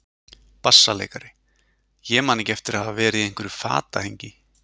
BASSALEIKARI: Ég man ekki eftir að hafa verið í einhverju fatahengi.